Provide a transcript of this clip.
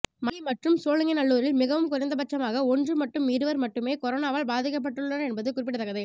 மணலி மற்றும் சோழிங்கநல்லூரில் மிகவும் குறைந்தபட்சமாக ஒன்று மட்டும் இருவர் மட்டுமே கொரோனாவால் பாதிக்கப்பட்டுள்ளனர் என்பது குறிப்பிடத்தக்கது